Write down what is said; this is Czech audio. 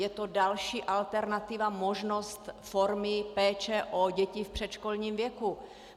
Je to další alternativa, možnost formy péče o děti v předškolním věku.